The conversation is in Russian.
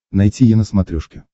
найти е на смотрешке